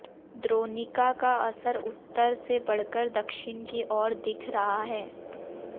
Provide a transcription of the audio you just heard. द्रोणिका का असर उत्तर से बढ़कर दक्षिण की ओर दिख रहा है